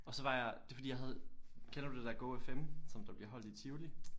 Og så var jeg det var fordi jeg havde kender du det der GoFM som der bliver holdt i Tivoli?